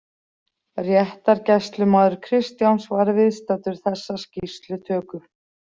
Réttargæslumaður Kristjáns var viðstaddur þessa skýrslutöku.